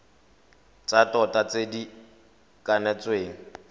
tsa tota tse di kanetsweng